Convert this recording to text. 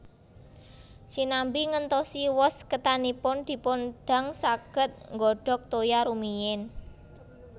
Sinambi ngentosi wos ketanipun dipun dang saged nggodhog toya rumiyin